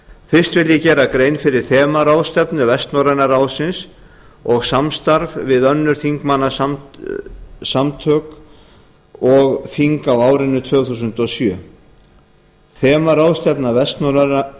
fyrst vil ég gera grein fyrir þemaráðstefnu vestnorræna ráðsins og samstarf við önnur þingmannasamtök og þing frá árinu tvö þúsund og sjö þemaráðstefna